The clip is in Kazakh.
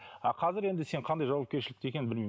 а қазір енді сен қандай жауапкершілікте екенін білмеймін